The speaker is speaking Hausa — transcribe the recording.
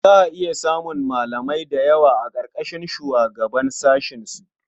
Za a iya samun malamai da yawa a ƙarƙashin shugaban sashensu.